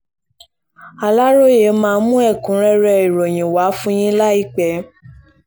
aláròye máa mú ẹ̀kúnrẹ́rẹ́ ìròyìn wá fún yín láìpẹ́